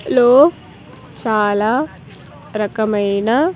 లో చాలా రకమైన.